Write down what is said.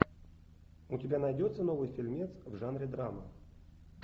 у тебя найдется новый фильмец в жанре драма